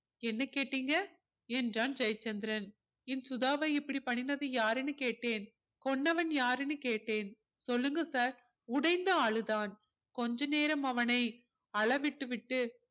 என்ன கேட்டிங்க என்றான் ஜெயச்சந்திரன் என் சுதாவை இப்படி பண்ணினது யார்னு கேட்டேன் கொன்னவன் யாருன்னு கேட்டேன் சொல்லுங்க sir உடைந்து அழுதான் கொஞ்ச நேரம் அவனை அழவிட்டு விட்டு